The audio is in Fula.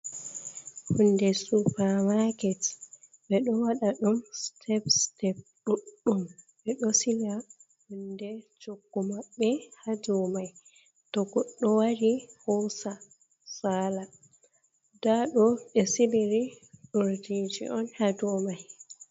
Hunde supermarket ɓe ɗo waɗa ɗum step-step ɗuɗɗum, ɓe ɗo sila hunde choggu maɓɓe ha dou mai, to goɗɗo wari hosa sala nda ɗo ɓe siliri urdije on ha dou mai.